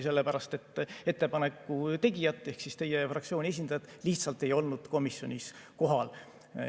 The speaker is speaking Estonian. Ettepaneku tegijat ehk siis teie fraktsiooni esindajat lihtsalt ei olnud komisjonis kohal.